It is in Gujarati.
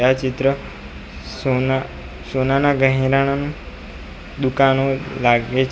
આ ચિત્ર સોના સોનાના ગેહના દુકાનો લાગે છે.